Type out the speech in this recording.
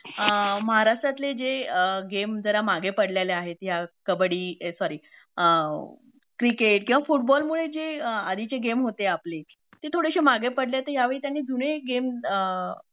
अ महाराष्ट्रातले जे गेम जरा मागे पडलेले आहेत ह्या कबड्डी ए सॉरी अ क्रिकेट किंवा फुटबॉलमुळे जे आधीचे गेम होते आपले ते थोडेशे मागे पडलेत तर त्यांनी ह्यावेळी जरा जुने गेम